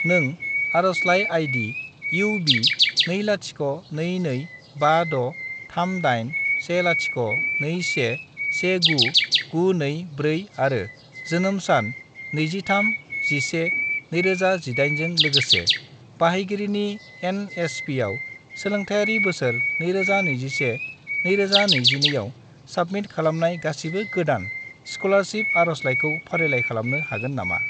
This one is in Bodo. नों आरजलाइ आई.डी. UB20225638102119924 आरो जोनोम सान 23-11-2018 जों लोगोसे बाहायगिरिनि एन.एस.पि.आव सोलोंथायारि बोसोर 2021 - 2022 आव साबमिट खालामनाय गासिबो गोदान स्कलारसिप आरजलाइखौ फारिलाइ खालामनो हागोन नामा?